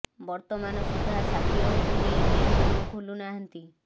ବର୍ତ୍ତମାନ ସୁଦ୍ଧା ସାକିରଙ୍କୁ ନେଇ କେହି ମୁହଁ ଖୋଲୁ ନାହାନ୍ତି